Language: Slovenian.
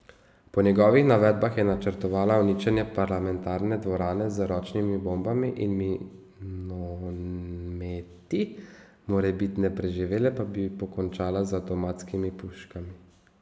Po njegovih navedbah je načrtovala uničenje parlamentarne dvorane z ročnimi bombami in minometi, morebitne preživele pa bi pokončala z avtomatskimi puškami.